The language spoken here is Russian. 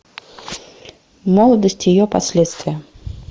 молодость и ее последствия